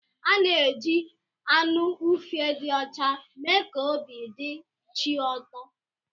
A na-eji anụ ufe dị ọcha mee ka obi dị chi ụtọ.